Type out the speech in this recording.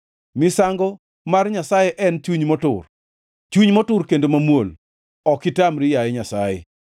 Misango mar Nyasaye en chuny motur, chuny motur kendo mamuol, ok itamri, yaye Nyasaye.